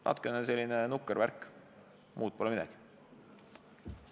Natukene nukker värk, muud midagi.